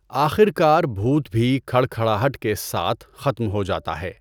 آخر کار بھوت بھی کھڑکھڑاہٹ کے ساتھ ختم ہو جاتا ہے۔